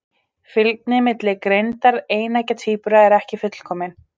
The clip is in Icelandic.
Fylgni milli greindar eineggja tvíbura er ekki fullkomin.